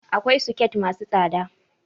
Akwai soket masu tsada